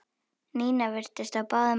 Nína virtist á báðum áttum.